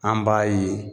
An b'a ye